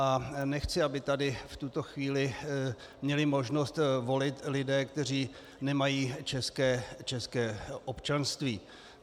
A nechci, aby tady v tuto chvíli měli možnost volit lidé, kteří nemají české občanství.